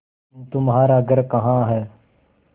तुम्हारा घर कहाँ है